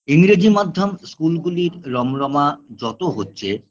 ইংরেজি মাধ্যম school -গুলির রমরমা যত হচ্ছে